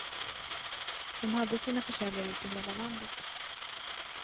De hade sina försäljare ute i hela landet.